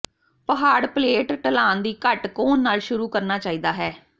ਪਹਾੜ ਪਲੇਟ ਢਲਾਨ ਦੀ ਘੱਟ ਕੋਣ ਨਾਲ ਸ਼ੁਰੂ ਕਰਨਾ ਚਾਹੀਦਾ ਹੈ